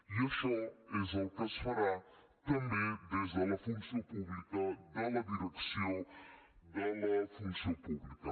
i això és el que es farà també des de la funció pública de la direcció de funció pública